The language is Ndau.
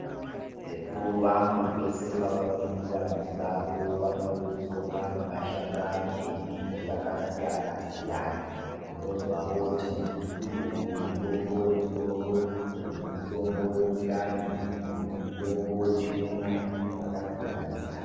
Sekuru vangu pese pavapindira musango vanotodzoka nemashakani emiti yakasiyana-siyana. Unonzwa vooti muzukuru uyu mutombo wemusoro, uyu mutombo wemundani uyu mutombo wechiuno, zvakasiyana-siyana.